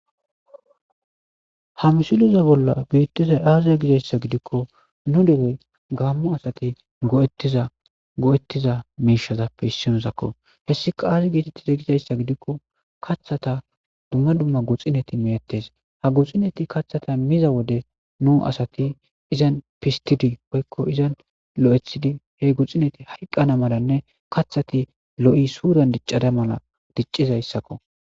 ha misileza bolla beettizay aazae gizayssa gidikko nu derey gaammu asati go'ettiza go'ettiza miishazappe issinuzakko hessika aazi giitettiza gizayssa gidikko kathata dumma dumma guxineti meettes ha guxineti kathata miza wode nu asati izan pistidi woykko izan lo7ethidi he guxineti hayqqana malanne kathati lo7i suuran diccada mala diccizayssakko